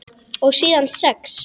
Og síðan sex?